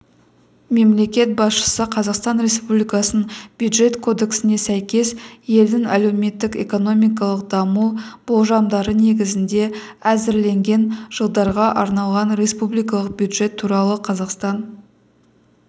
мемлекет басшысы қазақстан республикасының бюджет кодексіне сәйкес елдің әлеуметтік-экономикалық даму болжамдары негізінде әзірленген жылдарға арналған республикалық бюджет туралы қазақстан